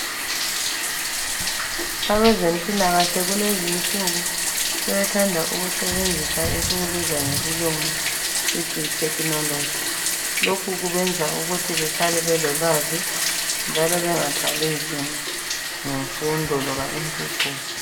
Abezempilakahle kulezinsuku sebethanda ukusebenzisa esikubiza ngesilungu sithi yitechnology. Lokhu kubenza ukuthi behlale belolwazi njalo bengathwalinzima ngemfundo loba impucuko.